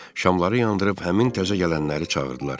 Şamları yandırıb həmin təzə gələnləri çağırdılar.